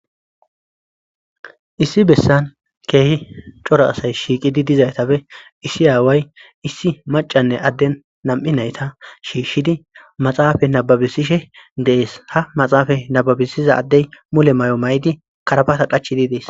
Essi Besan Kehi ccora asay shiqidi Dizaysaphe Esi away Maccane Aden Nam'i Nayta Shishidi Maxafe Nababisishe De'es Ha Maxafe Nababisiza Adey mume Mayo Mayo Mayidi Karabata kaccidi Des